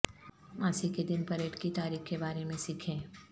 ماسی کے دن پریڈ کی تاریخ کے بارے میں سیکھیں